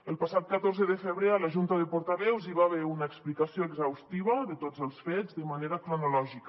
el passat catorze de febrer a la junta de portaveus hi va haver una explicació exhaustiva de tots els fets de manera cronològica